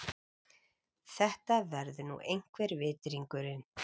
Þetta verður nú einhver vitringurinn.